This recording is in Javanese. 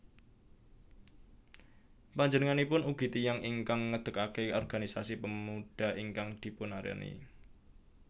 Panjenenganipun ugi tiyang ingkang ngedekke organisasi Pemuda ingkang dipunarani